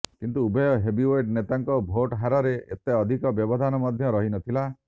କିନ୍ତୁ ଉଭୟ ହେଭିୱେଟ ନେତାଙ୍କ ଭୋଟହାରରେ ଏତେ ଅଧିକ ବ୍ୟବଧାନ ମଧ୍ୟ ରହିନଥିଲା